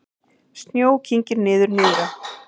Snjó kyngir niður nyrðra